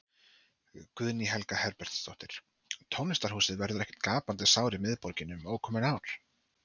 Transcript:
Guðný Helga Herbertsdóttir: Tónlistarhúsið verður ekki gapandi sár í miðborginni, um ókomin ár?